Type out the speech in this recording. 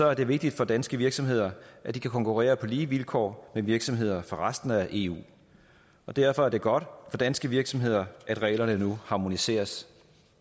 er det vigtigt for danske virksomheder at de kan konkurrere på lige vilkår med virksomheder fra resten af eu og derfor er det godt for danske virksomheder at reglerne nu harmoniseres